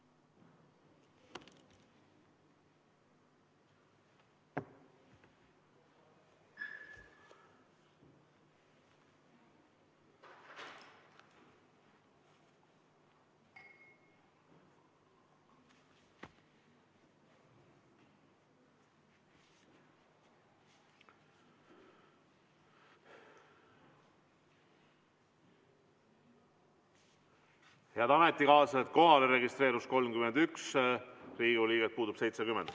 Head ametikaaslased, kohaolijaks registreerus 31 Riigikogu liiget, puudub 70.